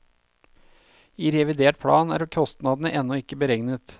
I revidert plan er kostnadene ennå ikke beregnet.